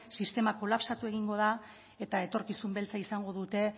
sistema kolapsatu egingo da eta etorkizun beltza izango dute